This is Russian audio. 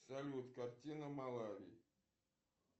салют картина малави